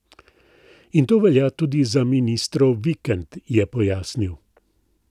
In to velja tudi za ministrov vikend, je pojasnil.